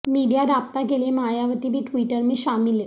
media رابطہ کیلئے مایاوتی بھی ٹوئیٹر میں شامل